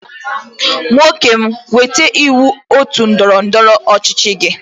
Nwokem weta iwu otu ndọrọ ndọrọ ọchịchị gi.